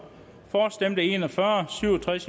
for stemte en og fyrre